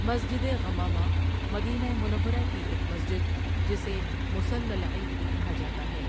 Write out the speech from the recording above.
مسجـد غمامہ مدینہ منورہ کی ایک مسجد جسے مصلی العید بھی کہا جاتا ہے.